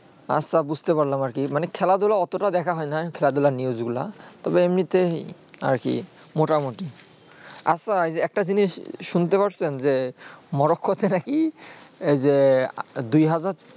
আ সব বুঝতে পারলাম আর কি মানে খেলা ধুলা অতটা দেখা হয় না খেলা ধুলা news গুলু তবে এমনি তাই আর কি মোটামোটি আফাজ একটা জিনিস শুনতে পারছেন যে morocco হচ্ছে না কি যে দুই হাজার